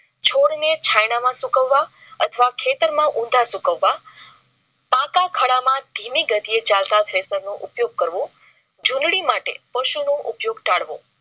છોડ ને છાયડા માં સુકવવા અથવા ખેતરમાં. ઊંધા સુકાવવા પાકા ખાડા માં ધીમી ગતિએ ચાલ તા નો ઉપયોગ કરવો ચૂંડની માટે પશુનું ઉપયોગ ટાળ વો